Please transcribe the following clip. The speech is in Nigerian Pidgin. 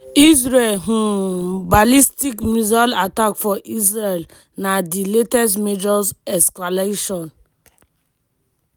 israel um ballistic missile attack for israel na di latest major escalation.